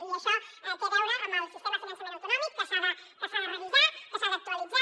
i això té a veure amb el sistema de finançament autonòmic que s’ha de revisar que s’ha d’actualitzar